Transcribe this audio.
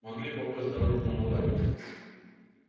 могли попасть в дорожную аварию